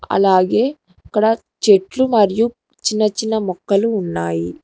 అలాగే ఇక్కడ చెట్లు మరియు చిన్న చిన్న మొక్కలు ఉన్నాయి.